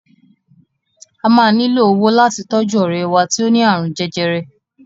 A maa nílò owó láti tọ́jú ọ̀rẹ́ wá tí ó ni àrùn jẹjẹrẹ.